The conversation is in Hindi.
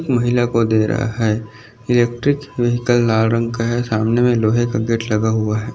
महिला को दे रहा है इलेक्ट्रिक वेहिकल लाल रंग का है सामने लोहे का गेट लगा हुआ है।